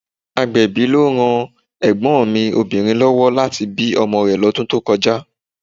Agbẹ̀bí ló ran ègbón mi Obìnrin lówó láti bí ọmọ rè lọ́dún tó kọjá